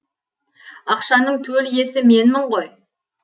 ақшаның төл иесі менмін ғой